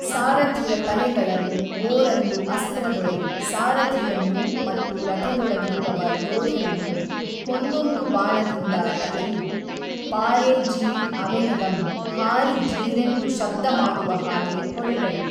ಸಾರಥಿಯ ತಲೆಗಳನು ಓರಂದು ಅಸ್ತ್ರದೊಳೆ ಸಾರಥಿಯನ್ನು ಮತ್ತು ರಥದೊಳಗಿರುವವ ಯೋಧನನ್ನು ಒಂದೊಂದು ಬಾಣದಿಂದ ತಲೆಯು ಪಾಱಿ ಜೀೞ್ ಅವೆನೆಗಂ ಹಾರಿ ಜೀರೆಂದು ಶಬ್ದ ಮಾಡುವ ಹಾಗೆ ಹೊಡೆದರು.